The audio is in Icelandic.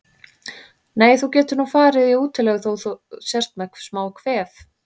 Nei, þú getur nú farið í útilegu þótt þú sért með smá kvef.